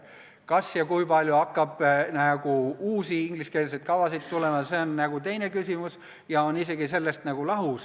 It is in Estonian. Kas ja kui palju hakkab uusi ingliskeelseid kavasid tulema, on teine küsimus ja on sellest isegi nagu lahus.